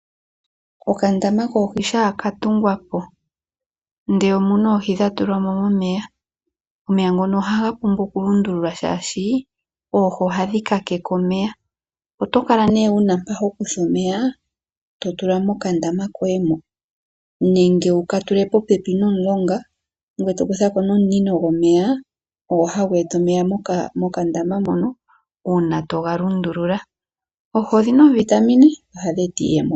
Okandama koohi shaa ka tungwa po ndee omuna oohi dha tulwamo momeya, omeya ngono ohaga pumbwa oku lundululwa shaashi oohi ohadhi kakeke omeya. Oto kala nee wuma mpa hokutha omeya to tula mokandama koye mo. Nenge wuka tule popepi nomulonga gweye to kuthako nee omunino gwomeya ogwo hagu eta omeya mokandama moka una toga lundulula. Oohi odhina oovitamin nohadhi eta iiyemo.